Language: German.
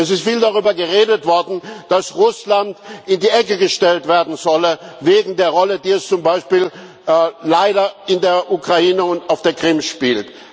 Es ist viel darüber geredet worden, dass Russland in die Ecke gestellt werden solle wegen der Rolle, die es zum Beispiel leider in der Ukraine und auf der Krim spielt.